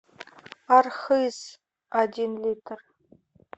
архыз один литр